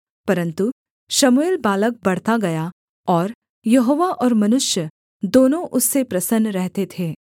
परन्तु शमूएल बालक बढ़ता गया और यहोवा और मनुष्य दोनों उससे प्रसन्न रहते थे